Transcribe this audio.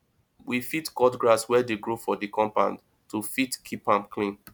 we fit cut grass wey dey grow for di compound to fit keep am clean